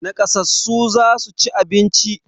Naƙasassu za su ci abinci.